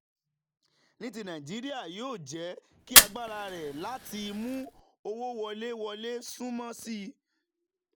ní ti nàìjíríà yóò jẹ́ kí agbára rẹ̀ láti mú owó wọlé wọlé sunwọ̀n sí i.